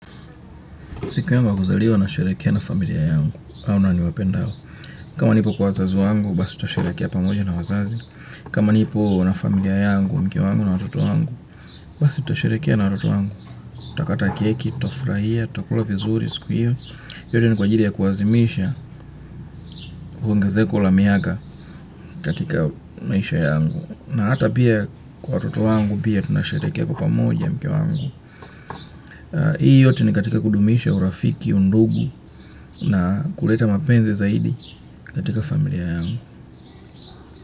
Siku yangu ya kuzaliwa nasherekea na familia yangu, au na niwapendao. Kama nipo kwa wazazi wangu, basi tutasherekea pamoja na wazazi. Kama nipo na familia yangu, mke wangu na watoto wangu, basi tutasherekea na watoto wangu. Tutakata keki, tutafraia, tutakula vizuri, siku hiyo. Yote ni kwa ajiri ya kuazimisha, kuongezeko la miaka katika maisha yangu. Na ata pia kwa watoto wangu, pia tunasherekea kwa pamoja mke wangu. Hii yote ni katika kudumisha urafiki undugu na kuleta mapenzi zaidi katika familia yangu.